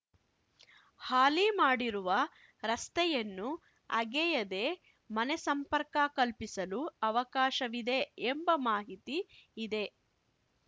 ಹಾಲಿ ಮಾಡಿರುವ ರಸ್ತೆಯನ್ನು ಅಗೆಯದೆ ಮನೆ ಸಂಪರ್ಕ ಕಲ್ಪಿಸಲು ಅವಕಾಶವಿದೆ ಎಂಬ ಮಾಹಿತಿ ಇದೆ